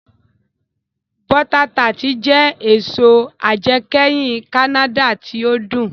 Bọ́ta tart jẹ èso ajẹkẹ́hin Kánádà tí ó dùn